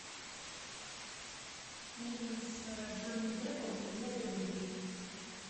фильм с джонни деппом и евой грин